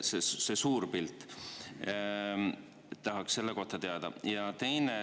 selle suure pildi.